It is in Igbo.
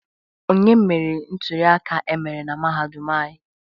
Onye meriri nturiaka emere na mahadum anyị?